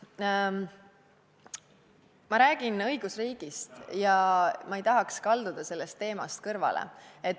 Ma räägin õigusriigist ja ma ei tahaks kalduda sellest teemast kõrvale.